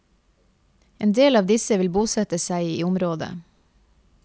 Endel av disse vil bosette seg i området.